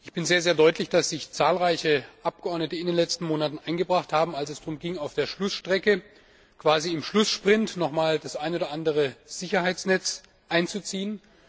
Ich bin sehr, sehr dankbar, dass sich zahlreiche Abgeordnete in den letzten Monaten eingebracht haben, als es darum ging, auf der Schlussstrecke quasi im Schlusssprint noch einmal das eine oder andere Sicherheitsnetz einzuziehen.